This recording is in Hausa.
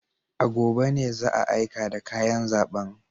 A gobe ne za a aika da kayan zaben.